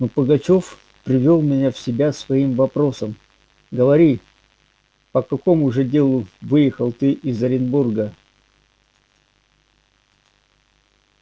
но пугачёв привёл меня в себя своим вопросом говори по какому же делу выехал ты из оренбурга